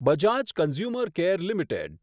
Bajaj consumer care limited